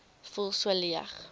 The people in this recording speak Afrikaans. voel so sleg